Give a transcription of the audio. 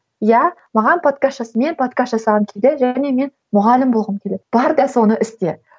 иә маған подкаст мен подкаст жасаған кезде және мен мұғалім болғым келеді бар да соны істе